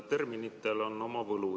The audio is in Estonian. Terminitel on oma võlu.